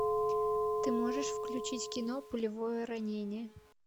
ты можешь включить кино пулевое ранение